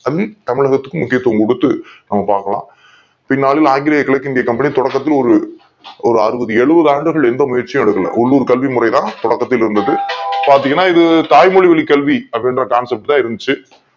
கல்விக்கு தமிழகத்தில் முக்கியத் துவம் கொடுத்தது நம்ம பார்க்கலாம் பின்னாளில் ஆங்கில கிழக் கிந்திய கம்பெனி தொடக்கத்தில் ஒரு அறுபது எழுவது ஆண்டுகள் எந்த முயற்சியும் எடுக்கல உள்ளூர் கல்வி முறை தான் தொடக்கத்தில் இருந்தது பார்த்தீங்கன்னா இது தாய் மொழி கல்வி அப்படிங்கிற concept தான் இருந்துச்சு